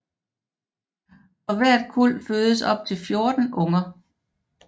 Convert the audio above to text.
For hvert kuld fødes op til 14 unger